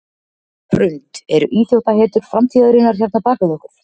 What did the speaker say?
Hrund: Eru íþróttahetjur framtíðarinnar hérna bak við okkur?